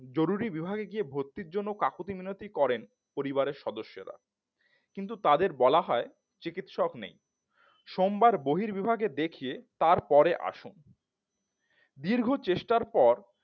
জরুরী বিভাগে গিয়ে ভর্তির জন্য কাকুতি মিনতি করেন পরিবারের সদস্যরা কিন্তু তাদের বলা হয় চিকিৎসক নেই সোমবার বহির বিভাগে দেখিয়ে তারপরে আসুন দীর্ঘ চেষ্টার পর